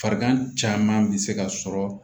Farigan caman bɛ se ka sɔrɔ